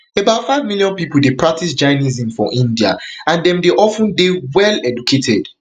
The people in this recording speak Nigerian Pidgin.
about five million pipo dey practice jainism for india and dem dey of ten dey well educated